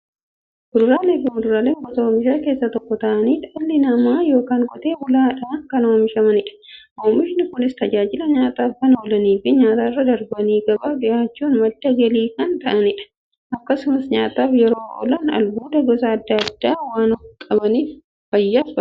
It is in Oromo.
Kuduraafi muduraan gosa oomishaa keessaa tokko ta'anii, dhala namaatin yookiin Qotee bulaadhan kan oomishamanidha. Oomishni Kunis, tajaajila nyaataf kan oolaniifi nyaatarra darbanii gabaaf dhiyaachuun madda galii kan kennanidha. Akkasumas nyaataf yeroo oolan, albuuda gosa adda addaa waan qabaniif, fayyaaf barbaachisoodha.